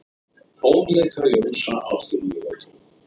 Tónleikar Jónsa á fimm mínútum